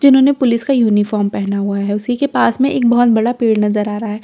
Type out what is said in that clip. जिन्होंने पुलीस का यूनिफॉर्म पहना हुआ है उसी के पास में एक बोहोत बड़ा पेड़ नज़र आ रहा है पेड़ के पास--